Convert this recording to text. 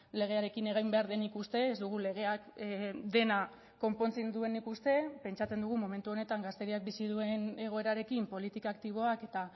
legearekin egin behar denik uste ez dugu legeak dena konpontzen duenik uste pentsatzen dugu momentu honetan gazteriak bizi duen egoerarekin politika aktiboak eta